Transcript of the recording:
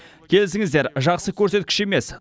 келісіңіздер жақсы көрсеткіш емес